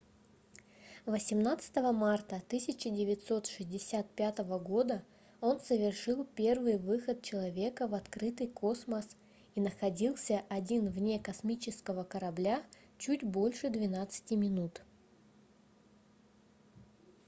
18 марта 1965 года он совершил первый выход человека в открытый космос и находился один вне космического корабля чуть больше 12-ти минут